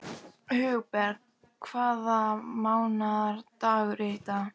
Hugberg, hvaða mánaðardagur er í dag?